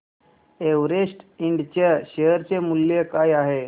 Everest Ind च्या share चे मूल्य काय आहे